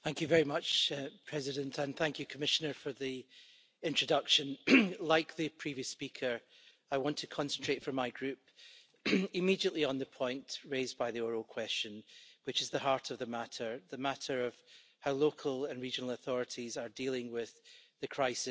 Mr President, I would like to thank the Commissioner for the introduction. Like the previous speaker, I want to concentrate, on behalf of my Group, immediately on the point raised by the oral question, which is the heart of the matter the matter of how local and regional authorities are dealing with the crisis.